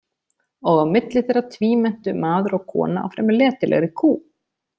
Og á milli þeirra tvímenntu maður og kona á fremur letilegri kú.